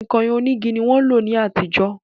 Kọ̀ìnkọ̀ìn onígi ni wọ́n ń lò ní àtijọ́